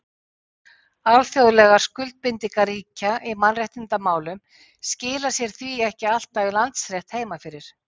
Alþjóðlegar skuldbindingar ríkja í mannréttindamálum skila sér því ekki alltaf í landsrétt heima fyrir.